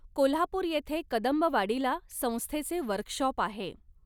कोल्हापूर येथे कदंबवाडीला संस्थेचे वर्कशॉप आहे.